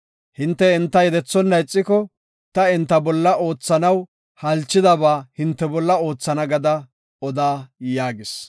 Hinte enta yedethonna ixiko, ta enta bolla oothanaw halchidaba hinte bolla oothana gada oda” yaagis.